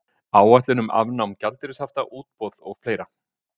Áætlun um afnám gjaldeyrishafta, útboð og fleira.